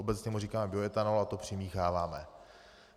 Obecně mu říkáme bioetanol a to přimícháváme.